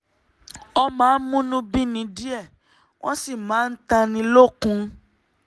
wọ́n máa ń múnú bíni díẹ̀ um wọ́n sì máa ń tánni lókun